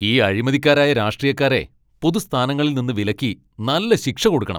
ഈ അഴിമതിക്കാരായ രാഷ്ട്രീയക്കാരെ പൊതു സ്ഥാനങ്ങളിൽ നിന്ന് വിലക്കി നല്ല ശിക്ഷ കൊടുക്കണം .